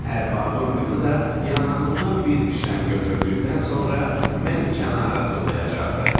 Ərbabın qızı da yanağımdan bir dişləm götürdükdən sonra məni kənara tullayacaqdı.